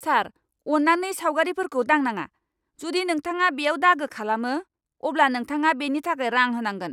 सार, अन्नानै सावगारिफोरखौ दांनाङा। जुदि नोंथाङा बेयाव दागो खालामो, अब्ला नोंथाङा बेनि थाखाय रां होनांगोन।